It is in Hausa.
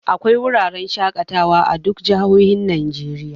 Akwai wurarren shaƙatawa a duka jihohin Najeriya